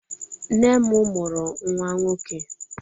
Nne m mụrụ nwa nwọke